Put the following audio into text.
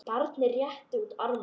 og barnið réttir út arma